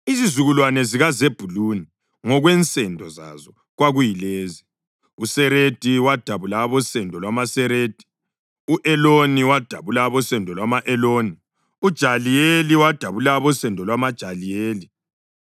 Izizukulwane zikaZebhuluni ngokwensendo zazo kwakuyilezi: uSeredi wadabula abosendo lwamaSeredi; u-Eloni wadabula abosendo lwama-Eloni; uJaliyeli wadabula abosendo lwamaJahileli.